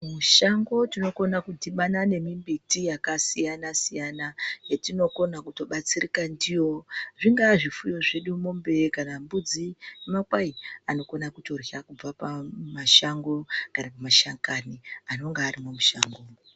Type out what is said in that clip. Mushango tinokona kudhibhana nemimbiti yakasiyana siyana yetinokona kuto batsirika ndiyo. Zvingava zvifuyo zvedu mombe kana mbudzi nemakwayi anokona kutorya pamashango kana mashakani anenge arimo mushango.